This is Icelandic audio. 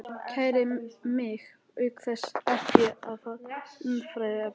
Kæri mig auk þess ekki um það umræðuefni.